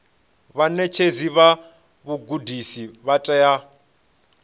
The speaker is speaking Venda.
vhaṋetshedzi vha vhugudisi vha tea